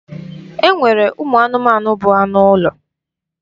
E nwere ụmụ anụmanụ bụ anụ ụlọ.